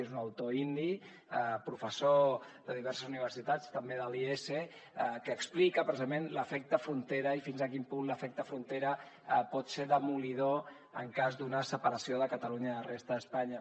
és un autor indi professor de diverses universitats també de l’iese que explica precisament l’efecte frontera i fins a quin punt l’efecte frontera pot ser demolidor en cas d’una separació de catalunya de la resta d’espanya